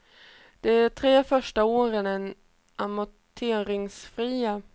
De tre första åren är amorteringsfria.